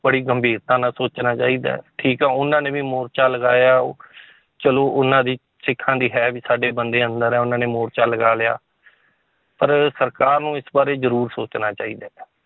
ਬੜੀ ਗੰਭੀਰਤਾ ਨਾਲ ਸੋਚਣਾ ਚਾਹੀਦਾ ਹੈ, ਠੀਕ ਹੈ ਉਹਨਾਂ ਨੇ ਵੀ ਮੋਰਚਾ ਲਗਾਇਆ ਚਲੋ ਉਹਨਾਂ ਦੀ ਸਿੱਖਾਂ ਦੀ ਹੈ ਵੀ ਸਾਡੇ ਬੰਦੇ ਅੰਦਰ ਹੈ ਉਹਨਾਂ ਨੇ ਮੋਰਚਾ ਲਗਾ ਲਿਆ ਪਰ ਸਰਕਾਰ ਨੂੰ ਇਸ ਬਾਰੇ ਜ਼ਰੂਰ ਸੋਚਣਾ ਚਾਹੀਦਾ ਹੈ